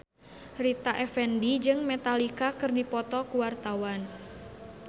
Rita Effendy jeung Metallica keur dipoto ku wartawan